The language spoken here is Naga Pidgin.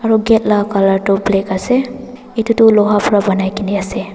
Aro gate la colour toh black ase etu toh loha para banai kena ase.